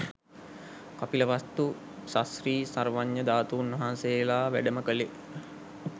කපිල වස්තු ශශ්‍රී සර්වඥ ධාතුන්වහන්සේලා වැඩම කළේ